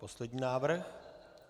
Poslední návrh.